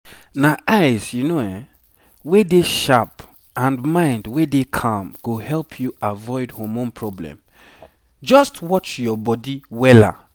na eyes wey dey sharp and mind wey dey calm go help you avoid hormone problem just watch your bodywella